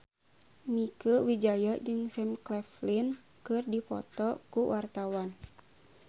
Mieke Wijaya jeung Sam Claflin keur dipoto ku wartawan